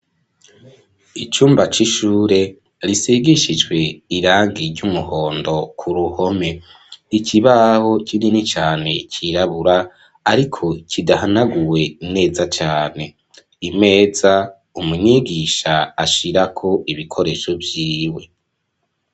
Icumba c'ishure risigishijwe irangi ry'umuhondo k'uruhome, ikibaho kinini cane cirabura ariko kidahanaguwe neza cane, imeza umwigisha ashirako ibikoresho vyiwe.